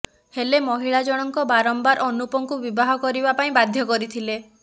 ହେଲେ ମହିଳା ଜଣକ ବାରମ୍ବାର ଅନୁପଙ୍କୁ ବିବାହ କରିବା ପାଇଁ ବାଧ୍ୟ କରିଥିଲେ